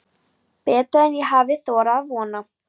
Betra en ég hafði þorað að vona